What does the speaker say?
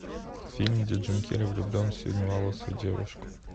фильм где джим керри влюблен в синеволосую девушку